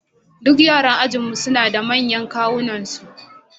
Duk yaran ajinmu suna da manyan kawunansu